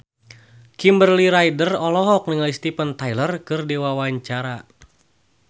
Kimberly Ryder olohok ningali Steven Tyler keur diwawancara